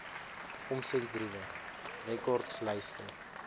omsendbriewe rekords lyste